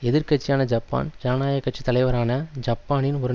எதிர்கட்சியான Japan ஜனநாயக கட்சி தலைவரான ஜப்பானின் ஒரு